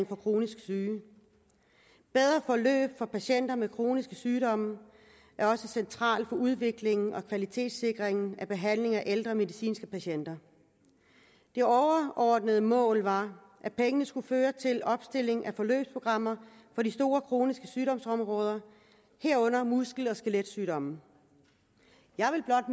for kronisk syge bedre forløb for patienter med kroniske sygdomme er også centralt for udviklingen og kvalitetssikringen af behandlingen af ældre medicinske patienter det overordnede mål var at pengene skulle føre til opstilling af forløbsprogrammer for de store kroniske sygdomsområder herunder muskel og skeletsygdomme jeg vil blot